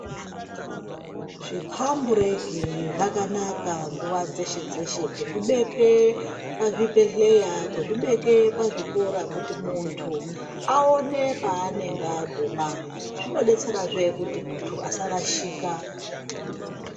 Zvipambureki zvakanaka nguwa dzeshe dzeshe kuzvibeke pazvibhehleya kuzvibeke pazvikora kuti muntu aone paanenge aguma . Zvinobetserazve kuti muntu asarashika .